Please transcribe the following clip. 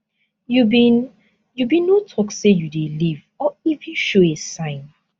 you bin you bin no tok say you dey leave or even show a sign